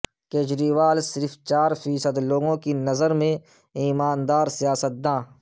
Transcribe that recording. کجریوال صرف چار فیصد لوگوں کی نظر میں ایماندار سیاستداں